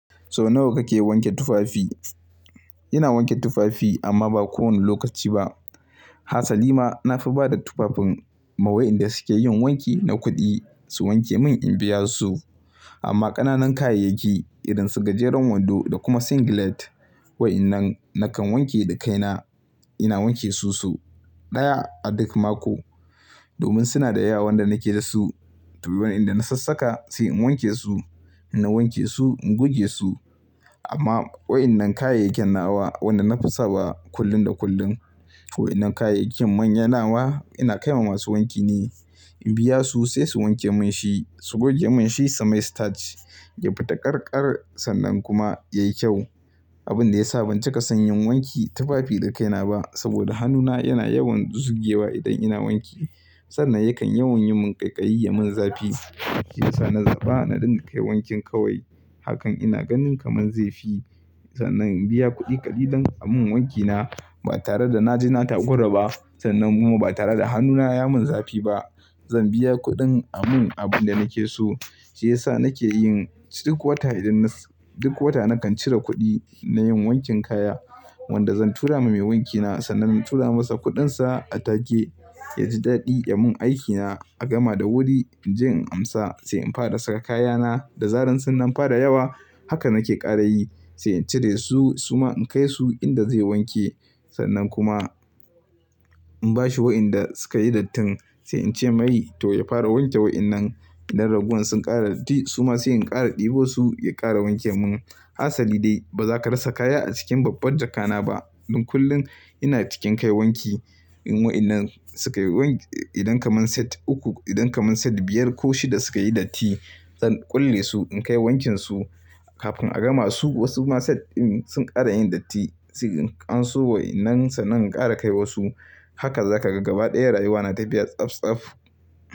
So nawa kake wanke tufafi? Ina wanke tufafi amma ba kowane lokaci ba. Hassali ma na fi ba da tufafin ma wayanda suke yin wanki na kuɗi su wanke mun in biya su. Amma ƙananan kayayyaki irin su gajeren wando da kuma singlet wa innan nakan wanke da kaina. Ina wanke su su ɗaya a duk mako domin suna da yawa wanda nake da su. To wa inda na sassaka sai in wanke su, inna wanke su, in goge su. Amma wayennan kayayyaken nawa wanda na fi sawa kullum da kullum to wayennan kayayyakin manyanawa ina kai ma masu wanki ne. In biya su sai su wanke mun shi, su goge mun shi sai mai stach, ya fita ƙarƙar sannan kuma yayi kyau. Abin da ya sa ban cika son yin wanki tufafi da kaina ba saboda hannuna yana yawan dusugewa idan ina wanki sannan yakan yawan yi mun ƙaiƙayi ya mun zafi. Shi ya sa na zaɓa naɗin kai wankin kawai hakan ina ganin kamar zafi sannan in biya kuɗi kaɗi don a mun wankina ba tare da na ji na tagora ba sannan kuma ba tare da hannuna ya mun zafi ba. Zan biya kuɗin a mun abin da nake so shi ya sa nake yin duk wata idan nas-- duk wata nakan cire kuɗi na yin wankin kaya wanda zan tura ma mai wankina sannan in tura masa kuɗinsa a take ya ji daɗi ya mun aikina a gama da wuri. In je in amsa sai in fara saka kayana da zarar sun nan fara yawa haka nake ƙara yi sai in cire su su ma in kai su inda zai wanke sannan kuma in bashi wayanda suka yi dattin sai in ce mai to ya fara wanke wayennan idan ragon sun ƙara datti su ma sai in ƙara ɗebo su ya ƙara wanke mun. Hassali dai baza ka rasa kaya a cikin babbar jakana ba. Don kullum ina cikin kai wanki in wayennan suka yi wan-- idan kaman set uku, idan kaman set biyar ko shida suka yi datti zan kulle su in kai wankinsu kafin a gama su wasu ma set din sun ƙara yin datti. In anso wayannan sannan in ƙara kai wa su. Haka zaka ga gaba ɗaya rayuwa na tafiya tsaftsaf.